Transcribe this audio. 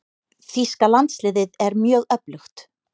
Þýska landsliðið er mjög öflugt.